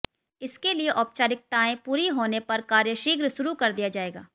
इसके लिए औपचारिकताएं पूरी होने पर कार्य शीघ्र शुरू कर दिया जाएगा